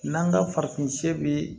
N'an ka farafin bi